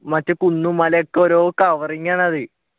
മറ്റേ കുന്നും മലയും ഒക്കെ ഓരോ covering ആണ് അത്